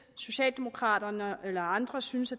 socialdemokraterne eller andre synes